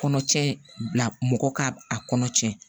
Kɔnɔcɛ bila mɔgɔ k'a kɔnɔ cɛn